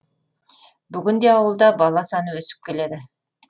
бүгінде ауылда бала саны өсіп келеді